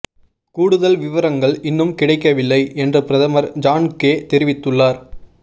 கூடுதல் விவரங்கள் இன்னும் கிடைக்கவில்லை என்று பிரதமர் ஜான் கே தெரிவித்துள்ளார்